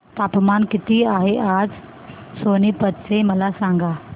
तापमान किती आहे आज सोनीपत चे मला सांगा